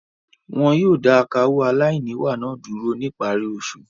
Wọn yóò dà akawó aláìníwà náà dúró ní ìparí oṣù.